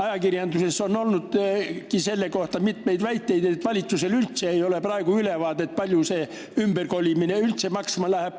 Ajakirjanduses on olnud mitmeid väiteid, et valitsusel ei ole praegu üldse ülevaadet, kui palju see ümberkolimine maksma läheb.